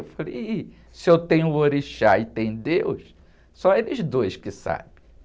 Eu falei, ih, se eu tenho orixá e tem Deus, só eles dois que sabem.